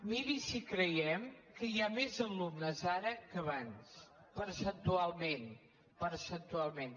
miri si hi creiem que hi ha més alumnes ara que abans percentualment percentualment